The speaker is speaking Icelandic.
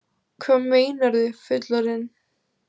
Hvað meinarðu, fullorðinn?